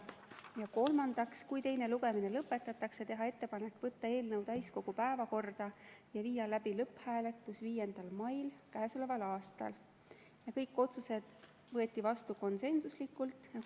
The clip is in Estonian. Ja kolmandaks, kui teine lugemine lõpetatakse, teha ettepanek võtta eelnõu täiskogu päevakorda ja viia läbi lõpphääletus 5. mail k.a. Kõik otsused võeti vastu konsensuslikult.